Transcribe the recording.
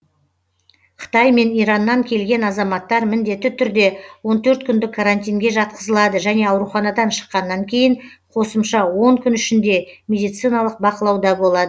қытай мен ираннан келген азаматтар міндетті түрде он төрт күндік карантинге жатқызылады және ауруханадан шыққаннан кейін қосымша он күн ішінде медициналық бақылауда болады